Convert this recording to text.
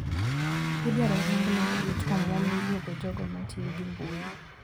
Idwaro rang matut omuom mijuogo jogo matiyogi mbui.